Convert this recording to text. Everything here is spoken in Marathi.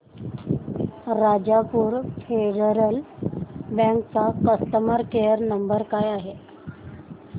राजापूर फेडरल बँक चा कस्टमर केअर नंबर काय आहे